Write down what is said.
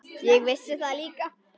Ég vissi það líka.